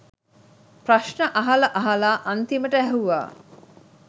ප්‍රශ්න අහලා අහලා අන්තිමට ඇහුවා